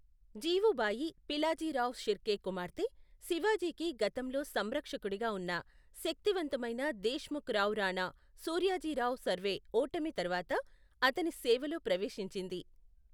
జీవుబాయి పిలాజీరావ్ షిర్కే కుమార్తె, శివాజీకి గతంలో సంరక్షకుడిగా ఉన్న శక్తివంతమైన దేశ్ముఖ్ రావ్ రాణా సూర్యాజీరావు సర్వే ఓటమి తర్వాత అతని సేవలో ప్రవేశించింది.